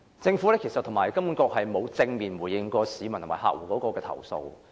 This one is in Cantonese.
政府和金管局並沒有正面回應市民及客戶的投訴。